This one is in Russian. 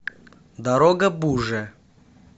дорогобуже